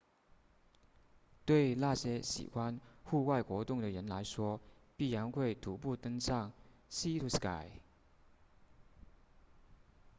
对那些喜欢户外活动的人来说必然会徒步登上 sea to sky